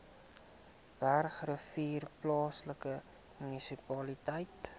bergrivier plaaslike munisipaliteit